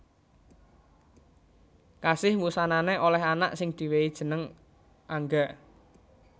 Kasih wusanané olèh anak sing diwèhi jeneng Angga